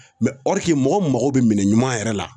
Mɛ ɔrike mɔgɔ mago be minɛn ɲuman yɛrɛ la